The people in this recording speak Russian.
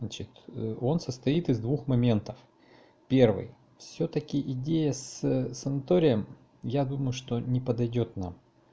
значит он состоит из двух моментов первый всё-таки идея с санаторием я думаю что не подойдёт нам